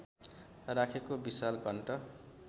राखेको विशाल घण्ट